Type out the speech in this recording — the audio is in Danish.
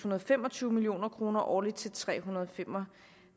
og fem og tyve million kroner årligt til tre hundrede og fem og